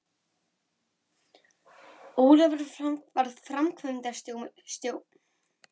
Ólafur varð framkvæmdastjóri fyrirtækisins við þessar breytingar og síðar hjá